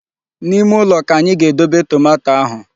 N'ime ụlọ ka anyị ga-edobe tomato ahu.